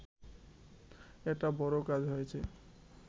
একটা বড় কাজ হয়েছে